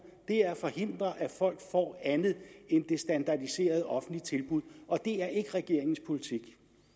er at forhindre at folk får andet end det standardiserede offentlige tilbud og det er ikke regeringens politik